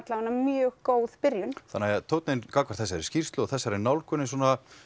mjög góð byrjun þannig að tónninn gagnvart þessari skýrslu og nálgun sé